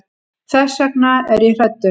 Þess vegna er ég hræddur.